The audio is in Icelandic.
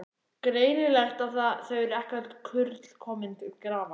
Greinilegt að það eru ekki öll kurl komin til grafar!